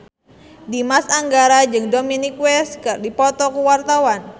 Dimas Anggara jeung Dominic West keur dipoto ku wartawan